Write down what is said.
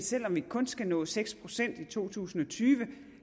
selv om vi kun skal nå seks procent i to tusind og tyve